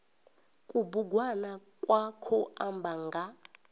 kubugwana kwa khou amba nga